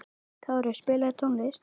Kári, spilaðu tónlist.